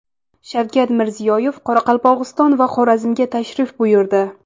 Shavkat Mirziyoyev Qoraqalpog‘iston va Xorazmga tashrif buyurdi.